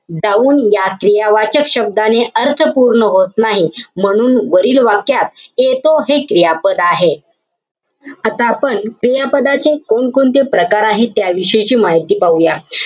जाऊन या क्रियावाचक शब्दांने अर्थ पूर्ण होत नाही. म्हणून वरील वाक्यात येतो हे क्रियापद आहे. आता आपण क्रियापदाचे कोणकोणते प्रकार आहेत त्या विषयीची माहिती पाहूया.